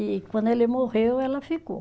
E quando ele morreu, ela ficou.